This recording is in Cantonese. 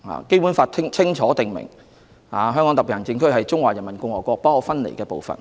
《基本法》清楚訂明，香港特別行政區是中華人民共和國不可分離的部分。